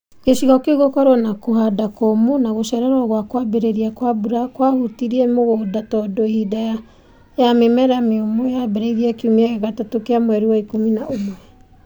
Gĩcigo kĩu gũkorwo na kũhanda kũũmũ na gũcererwo gwa kwambĩrĩria kwa mbura kwahũtirie mũgũnda tondũ hĩndĩ ya mĩmera mĩũmũ yambĩrĩirie kiumia gĩa gatatũ gĩa mweri wa ikumi na ũmwe.